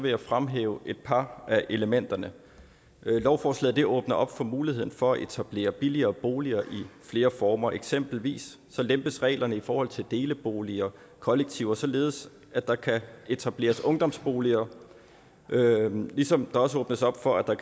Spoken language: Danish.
jeg fremhæve et par af elementerne lovforslaget åbner op for muligheden for at etablere billigere boliger i flere former eksempelvis lempes reglerne i forhold til deleboliger og kollektiver således at der kan etableres ungdomsboliger ligesom der også åbnes op for at der